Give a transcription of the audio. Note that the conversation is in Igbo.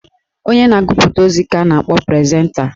Onye na-agụpụta ozi ka a na-akpọ prezenta.